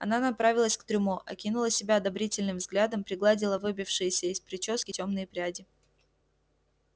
она направилась к трюмо окинула себя одобрительным взглядом пригладила выбившиеся из причёски тёмные пряди